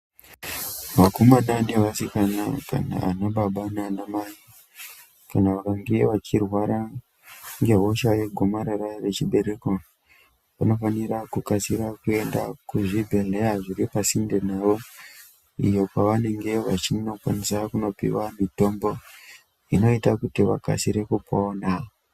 Vakomana nevasikana kana anababa nanamai kana vakange vachirwara ngehosha yegomarara rechibereko vanofanira kukasira kuenda kuzvibhedhleya zviri pasinde navo. Iyo kwavanenge vachinokwanisa kunopiva mitombo inoita kuti vakasire kupona.